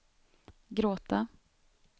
gråta